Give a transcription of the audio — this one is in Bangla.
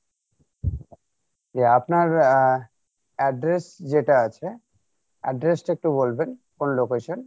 যে আপনার আহ address যেটা আছে address টা আপনি বলবেন কোন location?